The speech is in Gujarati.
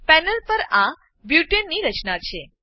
પેનલ પર આ બુટને બ્યુટેન ની રચના છે